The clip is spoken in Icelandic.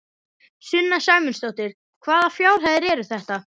Sunna Sæmundsdóttir: Hvaða fjárhæðir eru þetta?